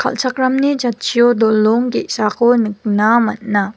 kal·chakramni jatchio dolong ge·sako nikna man·a.